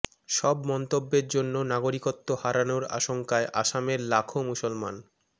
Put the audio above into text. সব মন্তব্যের জন্য নাগরিকত্ব হারানোর আশঙ্কায় আসামের লাখো মুসলমান